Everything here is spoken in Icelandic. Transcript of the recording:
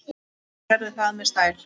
Og gerði það með stæl.